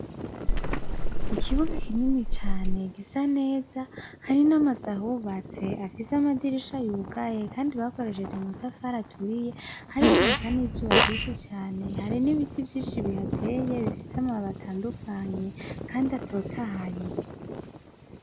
Ikibuga kinini cane gisa neza, hari n’amazu ahubatse afise amadirisha yugaye kandi bakoresheje amatafari aturiye hariko haka n’izuba ryinshi cane, hari n’ibiti vyinshi bihateye bifise amababi atandukanye kandi atotahaye.